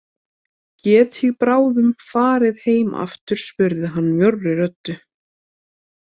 Get ég bráðum farið heim aftur spurði hann mjórri röddu.